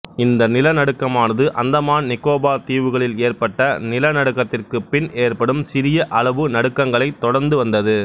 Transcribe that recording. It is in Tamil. இந்த நிலநடுக்கமானது அந்தமான் நிக்கோபார் தீவுகளில் ஏற்பட்ட நிலநடுக்கத்திற்குப் பின் ஏற்படும் சிறிய அளவு நடுக்கங்கைளத் தொடர்ந்து வந்தது